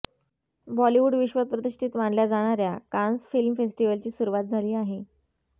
बॉलिवूड विश्वात प्रतिष्ठीत मानल्या जाणाऱ्या कान्स फिल्म फेस्टिव्हलची सुरूवात झाली आहे